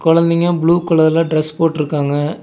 குழந்தைங்க ப்ளூ கலர்ல டிரஸ் போட்ருக்காங்க.